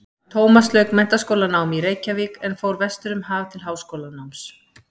Tómas lauk menntaskólanámi í Reykjavík en fór vestur um haf til háskólanáms.